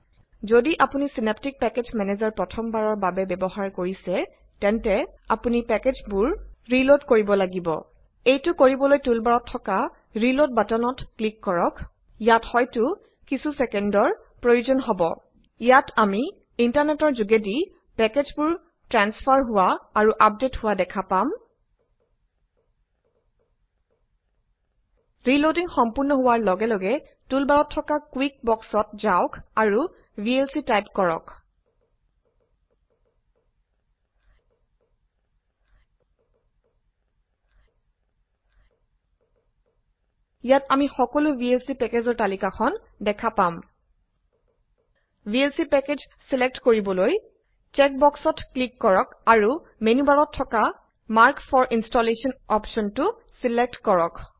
যদি আপুনি Synaptic package manager প্ৰথম বাৰৰ বাবে ব্যৱহাৰ কৰিছে তেন্তে আপুনি পেকেজচ্ ৰিলোড কৰিব লাগিব। এইটো কৰিবলৈ টুলবাৰত থকা ৰিলোড বাটনত ক্লিক কৰক। ইয়াত হয়তো কিছু ছেকেণ্ডৰ প্ৰয়োজন হব। ইয়াত আমি ইন্টাৰনেটৰ ঘোগেদি পেকেজচবোৰ ট্ৰেঞ্চফাৰ হোৱা আৰু আপদেট হোৱা দেখা পাম। ৰিলোডিং সম্পূৰ্ণ হোৱাৰ লগে লগে টুল বাৰত থকা কুইক বক্সত ঘাওক আৰু ভিএলচি টাইপ কৰক। ইয়াত আমি সকলো ভিএলচি পেকেজৰ তালিকাখন দেখা পাম। ভিএলচি পেকেজ চিলেক্ট কৰিবলৈ চেকবক্সত ক্লিক কৰক আৰু মেনুবাৰত থকা মাৰ্কফৰ ইনষ্টলেচন অপচনটো চিলেক্ট কৰক